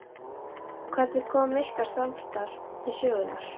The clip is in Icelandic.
Hvernig kom ykkar samstarf til sögunnar?